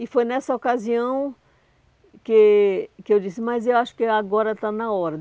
E foi nessa ocasião que que eu disse, mas eu acho que agora está na hora.